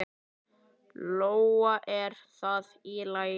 Lóa: Er það í lagi?